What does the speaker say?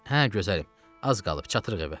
Hə, gözəlim, az qalıb çatırıq evə.